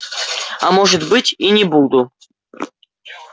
а может быть и не буду